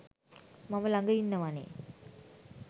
මම ළඟ ඉන්නවනෙ.